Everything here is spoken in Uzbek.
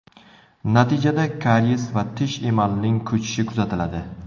Natijada kariyes va tish emalining ko‘chishi kuzatiladi.